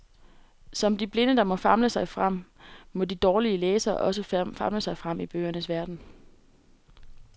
Som de blinde, der må famle sig frem, må de dårligere læsere også famle sig frem i bøgernes verden.